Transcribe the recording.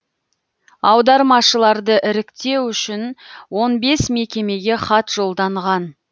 аудармашыларды іріктеу үшін он бес мекемеге хат жолданған